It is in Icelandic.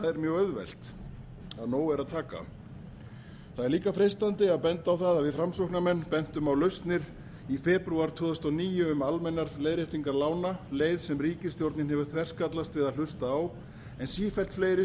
mjög auðvelt af nógu er að taka það er líka freistandi að benda á að við framsóknarmenn bentum á lausnir í febrúar tvö þúsund og níu um almennar leiðréttingar lána leið sem ríkisstjórnin hefur þverskallast við að hlusta á en sífellt fleiri